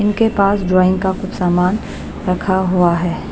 इनके पास ड्राइंग का कुछ सामान रखा हुआ है।